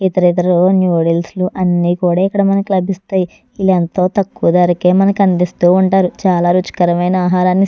ఇతర ఇతర నూడిల్స్ అన్ని కూడా ఇక్కడ మనకి లభిస్థాయ్ . వీళ్ళు ఎంతో తక్కువ ధరకే మనకు అందిస్తూ ఉంటారు. చాలా రుచికరమైన ఆహారాన్ని ఇస్తారు.